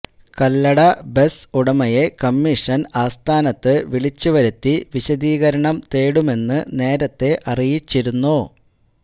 Kallada bus ഉടമയെ commission ആസ്ഥാനത്ത് വിളിച്ചുവരുത്തി വിശദീകരണം തേടുമെന്ന് നേരത്തെ അറിയിച്ചിരുന്നു